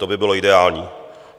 To by bylo ideální.